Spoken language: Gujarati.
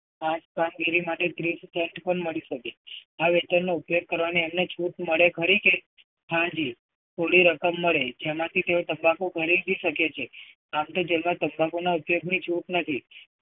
આ જ કામગીરી માટે ત્રીસ cent પણ મળી શકે. આ વેતનનો ઉપયોગ કરવાની એમને છૂટ મળે ખરી કે? હાં જી. પૂરી રકમ મળે જેમાંથી તેઓ તંબાકુ ગણી બી શકે છે. આમ તો jail માં તંબાકુ ના ઉપયોગની છૂટ નથી.